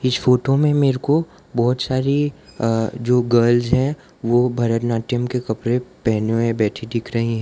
इस फोटो में मेरे को बहुत सारी अह जो गर्ल्स हैं वो भरतनाट्यम के कपड़े पहने हुए बैठी दिख रही हैं।